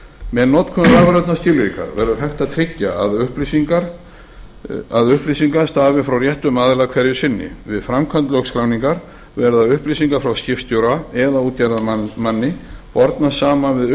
með notkun rafrænna skilríkja verður hægt að tryggja að upplýsingarnar stafi frá réttum aðila hverju sinni við framkvæmd lögskráningar verða upplýsingar frá skipstjóra eða útgerðarmanni bornar saman við